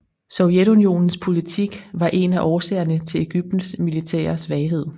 Sovjetunionens politik var en af årsagerne til Egyptens militære svaghed